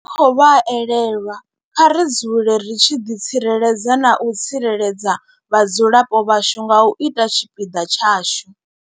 Ri tshi khou vha elelwa, kha ri dzule ri tshi ḓi tsireledza na u tsireledza vhadzulapo vhashu nga u ita tshipiḓa tshashu.